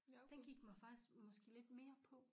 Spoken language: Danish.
Den gik mig faktisk måske lidt mere på